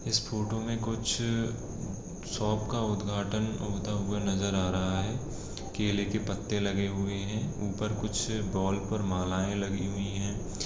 इस फोटो में कुछ अ शॉप का उद्धघाटन होता हुआ नजर आ रहा है केले के पत्ते लगे हुए है ऊपर कुछ अ बॉल पर मालाएं लगी हुई है।